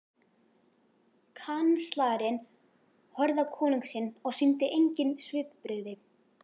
Kanslarinn horfði á konung sinn og sýndi engin svipbrigði.